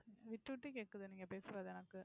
விட்டு விட்டு கேக்குது, நீங்க பேசுறது எனக்கு.